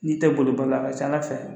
N'i tɛ boliba la a ka ca Ala fɛ